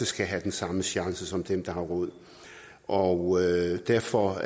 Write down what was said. skal have den samme chance som dem der har råd og derfor har